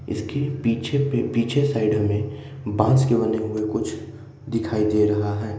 इसके पीछे पे पीछे साइड में बांस के बने हुए कुछ दिखाई दे रहा है।